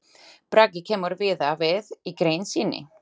Bragi kemur víða við í grein sinni.